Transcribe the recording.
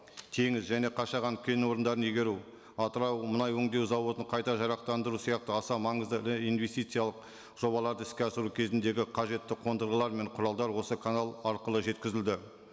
теңіз және қашаған кең орындарын игеру атырау мұнай өндеу зауытын қайта жарақтандыру сияқты аса маңызды ірі инвестициялық жобаларды іске асыру кезіндегі қажетті қондырғылар мен құралдар осы канал арқылы жеткізілді